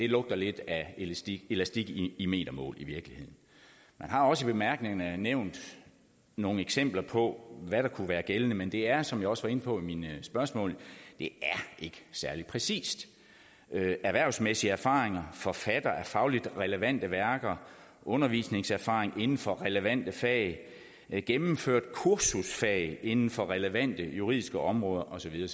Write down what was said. lugter lidt af elastik elastik i metermål man har også i bemærkningerne nævnt nogle eksempler på hvad der kunne være gældende men det er som jeg også var inde på i mine spørgsmål ikke særlig præcist erhvervsmæssige erfaringer forfatter af fagligt relevante værker undervisningserfaring inden for relevante fag gennemført kursusfag inden for relevante juridiske områder og så videre